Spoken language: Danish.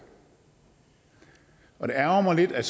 og det ærgrer mig lidt at